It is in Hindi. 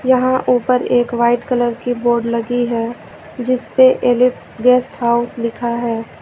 यहां ऊपर एक वाइट कलर की बोर्ड लगी है जिस पे एलीट गेस्ट हाउस लिखा है।